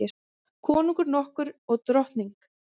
Konungur nokkur og drottning.